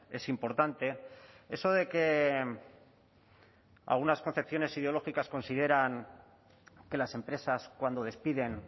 es importante eso de que algunas concepciones ideológicas consideran que las empresas cuando despiden